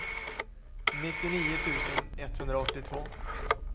nittionio tusen etthundraåttiotvå